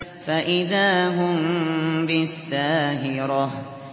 فَإِذَا هُم بِالسَّاهِرَةِ